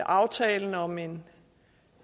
aftalen om en